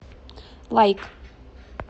лайк